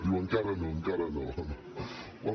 diu encara no encara no